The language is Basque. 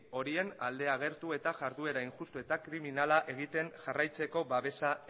horien alde agertu eta jarduera injustu eta kriminala egiten jarraitzeko babesa